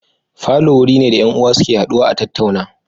Falo wuri ne da 'yan uwa suke haduwa su tattauna